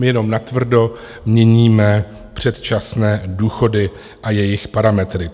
My jenom natvrdo měníme předčasné důchody a jejich parametry.